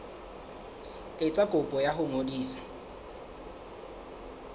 etsa kopo ya ho ngodisa